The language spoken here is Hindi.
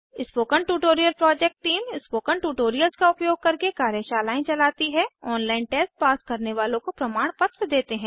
spoken tutorial project team spoken tutorials का उपयोग करके कार्यशालाएं चलती है ऑनलाइन टेस्ट पास करने वालों को प्रमाणपत्र देते हैं